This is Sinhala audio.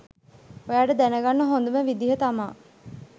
ඔයාට දැනගන්න හොඳම විදිහ තමා